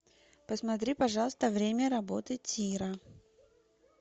посмотри пожалуйста время работы тира